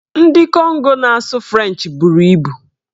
Ndị Kongo na-asụ frenchị bụrụ ibu.